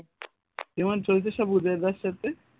কেমন চলছে রে সব উদয় দার সাথে?